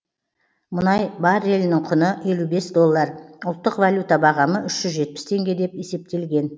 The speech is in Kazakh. мұнай баррелінің құны елу бес доллар ұлттық валюта бағамы үш жүз жетпіс теңге деп есептелген